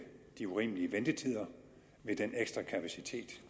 de urimelige ventetider med den ekstra kapacitet